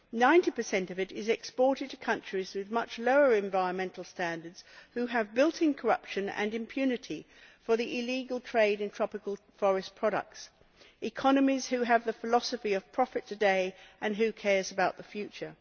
Some 90 of it is exported to countries with much lower environmental standards that have built in corruption and impunity for the illegal trade in tropical forest products economies that have the philosophy of profit today and who cares about the future?'.